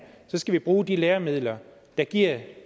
skal bruge de læremidler der giver